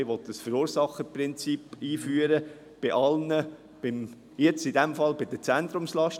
Man will ein Verursacherprinzip einführen, bei allen, in diesem Fall bei den Zentrumslasten.